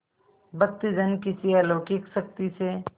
भक्तजन किसी अलौकिक शक्ति से